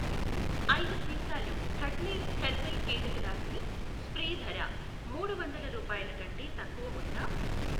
ఐదు సీసాలు ఖట్నిల్ హెర్బల్ కీటకనాసిని స్ప్రే ధర మూడు వందల రూపాయలకంటే తక్కువ ఉందా?